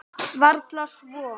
Varla svo.